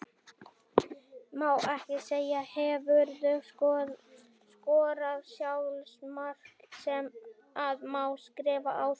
Má ekki segja Hefurðu skorað sjálfsmark sem að má skrifa á þig?